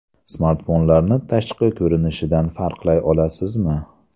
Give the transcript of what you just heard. Smartfonlarni tashqi ko‘rinishidan farqlay olasizmi?